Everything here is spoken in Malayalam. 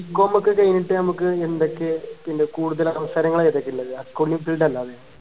bcom ഒക്കെ കഴിഞ്ഞിട്ട് നമുക്ക് എന്തൊക്കെ പിന്നെ കൂടുതൽ അവസരങ്ങൾ ഏതൊക്കെയാള്ളത് accounting field അല്ലാതെ